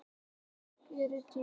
Tæki eru dýr.